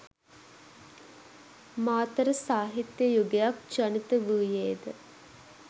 මාතර සාහිත්‍ය යුගයක් ජනිත වූයේද